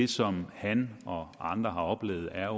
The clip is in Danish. som han og andre har oplevet er